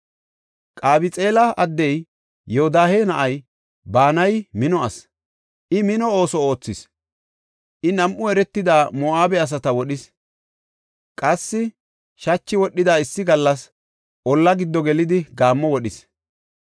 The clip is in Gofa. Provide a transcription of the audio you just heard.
Qabxeela addey Yoodahe na7ay Banayi mino asi; I mino ooso oothis. I nam7u eretida Moo7abe asata wodhis. Qassi shachi wodhida issi gallas olla giddo gelidi gaammo wodhis.